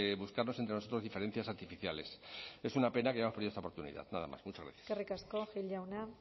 buscarnos entre nosotros diferencias artificiales es una pena que hayamos perdido esta oportunidad nada más muchas gracias eskerrik asko gil jauna